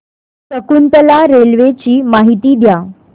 Shakuntala railway ची माहिती द्या